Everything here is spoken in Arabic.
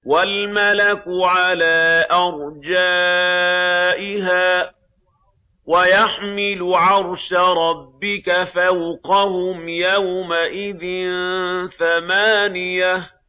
وَالْمَلَكُ عَلَىٰ أَرْجَائِهَا ۚ وَيَحْمِلُ عَرْشَ رَبِّكَ فَوْقَهُمْ يَوْمَئِذٍ ثَمَانِيَةٌ